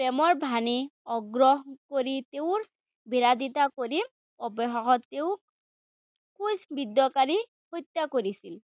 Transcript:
প্ৰেমৰ বাণী অগ্ৰাহ্য কৰি তেওঁৰ বিৰোধিতা কৰি অৱশেষত তেওঁক ক্ৰোছিবিদ্ধ কৰি হত্যা কৰিছিল।